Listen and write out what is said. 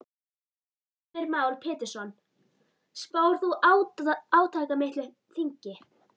Heimir Már Pétursson: Spáir þú átakamiklu þingi?